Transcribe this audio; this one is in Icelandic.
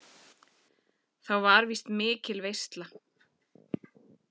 Þá var víst mikil veisla.